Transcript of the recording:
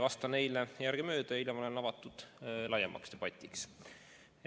Vastan neile järgemööda ja hiljem olen avatud laiemaks debatiks.